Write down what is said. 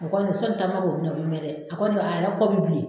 O kɔni sɔni takuma k'o minɛ o bi mɛ dɛ a kɔni a yɛrɛ kɔ bi bilen